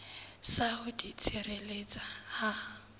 sa ho di tshireletsa ha